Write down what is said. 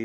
44%.